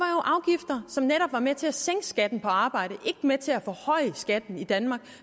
så netop var med til at sænke skatten på arbejde ikke med til at forhøje skatten i danmark